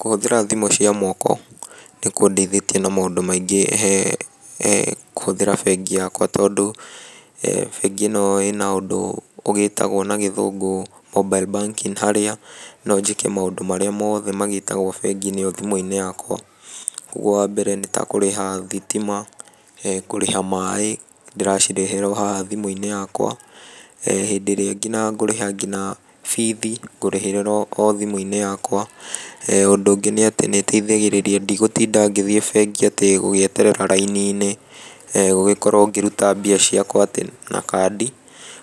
Kũhũthĩra thimũ cia moko, nĩ kũndeithĩtie na maũndũ maingĩ he kũhũthĩra bengi yakwa tondũ bengi ĩno ĩna ũndũ ũgĩĩtagwo na gĩthũngũ mobile banking harĩa no njĩke maũndũ marĩa moothe magĩkagwo bengi-inĩ thimũ-inĩ yakwa. Koguo wa mbere nĩ ta kũrĩha thitima, kũrĩha maaĩ, ndĩracirĩhĩra o haha thimũ-inĩ yakwa. Hĩndĩ ĩrĩa ngina ngũrĩha ngina bithi ngũrĩhĩra o thimũ-inĩ yakwa. Ũndũ ũngĩ nĩ atĩ nĩ ĩteithagĩrĩria ndigũtinda ngĩthiĩ bengi atĩ gũgĩeterera raini-inĩ, gũgĩkorwo ngĩruta mbeca ciakwa atĩ na kandi,